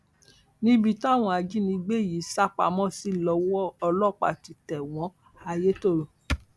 níbi táwọn ajìnígbé yìí sá pamọ sí lọwọ ọlọpàá ti tẹ wọn layétọrọ